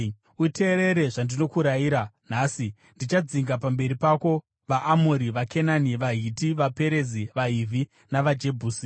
Uteerere zvandinokurayira nhasi. Ndichadzinga pamberi pako vaAmori, vaKenani, vaHiti, vaPerezi, vaHivhi navaJebhusi.